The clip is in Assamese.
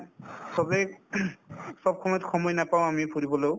চবেই চব সময়ত সময় নাপাওঁ আমি ফুৰিবলেও